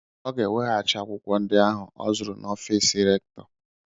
Ọ ga enweghachi akwụkwọ ndị ahù o zụrụ n'ọfiisi rèktọ